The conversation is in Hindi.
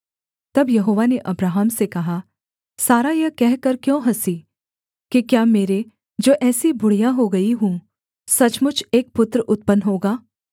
तब यहोवा ने अब्राहम से कहा सारा यह कहकर क्यों हँसी कि क्या मेरे जो ऐसी बुढ़िया हो गई हूँ सचमुच एक पुत्र उत्पन्न होगा